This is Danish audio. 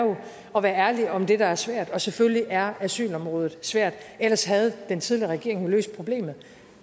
at være ærlig om det der er svært og selvfølgelig er asylområdet svært ellers havde den tidligere regering jo løst problemet